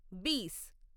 బీస్